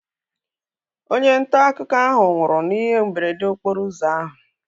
Onye ntaakụkọ ahu nwụrụ n'ihe mberede okporo ụzọ ahu